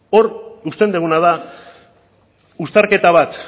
hor uzten duguna da uztarketa bat